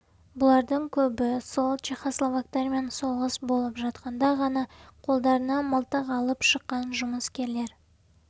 бұлардың көбі сол чехословактармен соғыс болып жатқанда ғана қолдарына мылтық алып шыққан жұмыскерлер